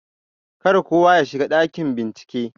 Kar kowa yashiga ɗakin bincike.